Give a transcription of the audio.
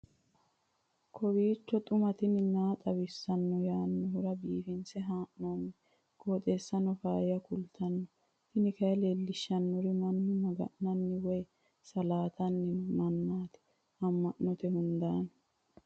kowiicho xuma mtini maa xawissanno yaannohura biifinse haa'noonniti qooxeessano faayya kultanno tini kayi leellishshannori mannu maga'nanni woy saaatanni noo mannaati amma'note hundaanni